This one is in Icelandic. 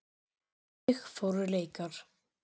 Þannig fóru leikar.